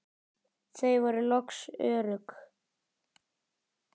Þau voru loks örugg.